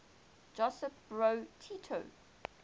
josip broz tito